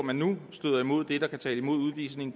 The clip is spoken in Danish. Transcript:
man støder imod der kan tale imod udvisning